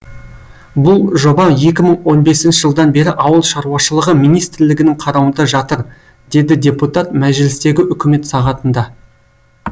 бұл жоба екі мың он бесінші жылдан бері ауыл шаруашылығы министрлігінің қарауында жатыр деді депутат мәжілістегі үкімет сағатында